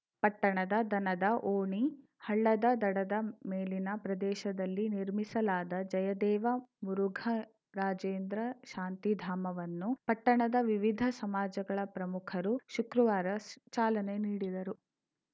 ಪಟ್ಟಣದ ದನದ ಓಣಿ ಹಳ್ಳದ ದಡದ ಮೇಲಿನ ಪ್ರದೇಶದಲ್ಲಿ ನಿರ್ಮಿಸಲಾದ ಜಯದೇವ ಮುರುಘರಾಜೇಂದ್ರ ಶಾಂತಿಧಾಮವನ್ನು ಪಟ್ಟಣದ ವಿವಿಧ ಸಮಾಜಗಳ ಪ್ರಮುಖರು ಶುಕ್ರವಾರ ಚಾಲನೆ ನೀಡಿದರು